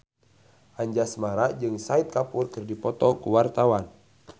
Anjasmara jeung Shahid Kapoor keur dipoto ku wartawan